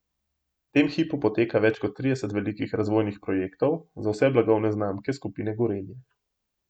V tem hipu poteka več kot trideset velikih razvojnih projektov za vse blagovne znamke Skupine Gorenje.